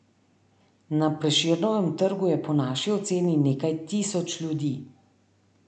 Na Prešernovem trgu je po naši oceni nekaj tisoč ljudi.